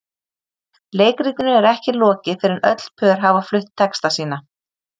Leikritinu er ekki lokið fyrr en öll pör hafa flutt texta sína.